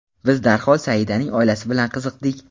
Biz darhol Saidaning oilasi bilan qiziqdik.